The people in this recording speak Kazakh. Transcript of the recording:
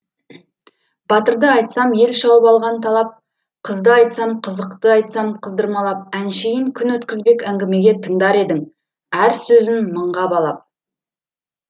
батырды айтсам ел шауып алған талап қызды айтсам қызықты айтсам қыздырмалап әншейін күн өткізбек әңгімеге тыңдар едің әр сөзін мыңға балап